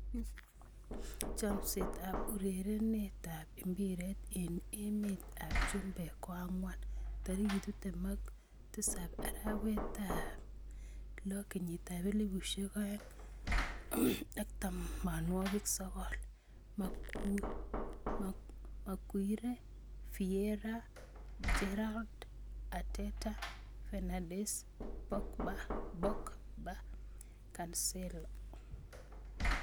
Chomset ab urerenet ab mbiret eng emet ab chumbek koang'wan 27.06.2019: Maguire, Vieira, Gerrard, Arteta, Fernandes, Pogba, Cancelo